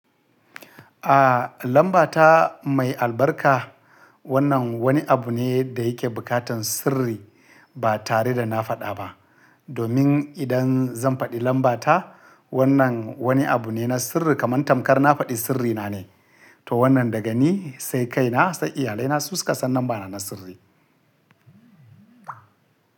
A, lambata mai albarka. Wannan wani abu ne da yake bukatan sirri ba tare da na faɗa ba. Domin idan zan faɗi lambata, wannan wani abu ne na sirri kamar tamkar na faɗi sirrina ne. To wannan daga ni sai kaina sai iyalaina su suka san lambana na sirri.